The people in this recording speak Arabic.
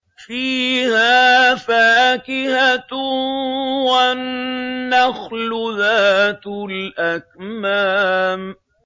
فِيهَا فَاكِهَةٌ وَالنَّخْلُ ذَاتُ الْأَكْمَامِ